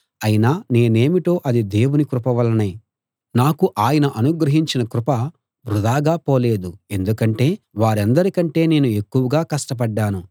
అయినా నేనేమిటో అది దేవుని కృప వల్లనే నాకు ఆయన అనుగ్రహించిన కృప వృధాగా పోలేదు ఎందుకంటే వారందరికంటే నేను ఎక్కువగా కష్టపడ్డాను